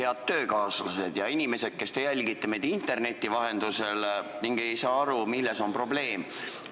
Head töökaaslased ja inimesed, kes te jälgite meid interneti vahendusel ega saa aru, milles on probleem!